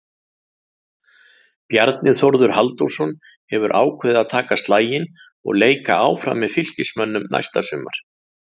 Bjarni Þórður Halldórsson hefur ákveðið að taka slaginn og leika áfram með Fylkismönnum næsta sumar.